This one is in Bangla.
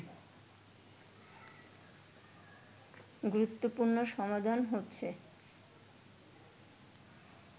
গুরুত্বপূর্ণ সমাধান হচ্ছে